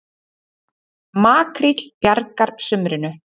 Makríll bjargar sumrinu